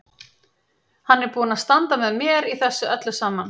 Hann er búinn að standa með mér í þessu öllu saman.